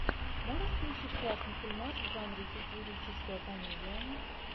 можешь включить классный фильмас в жанре сатирическая комедия